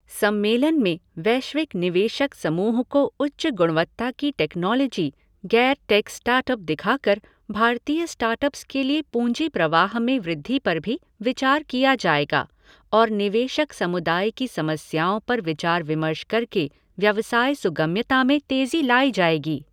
सम्मेलन में वैश्विक निवेशक समूह को उच्च गुणवत्ता की टेकनोलॉजी, गैर टेक स्टार्टअप दिखाकर भारतीय स्टार्टअप्स के लिए पूंजी प्रवाह में वृद्धि पर भी विचार किया जाएगा और निवेशक समुदाय की समस्याओं पर विचार विमर्श करके व्यवसाय सुगम्यता में तेजी लाई जाएगी।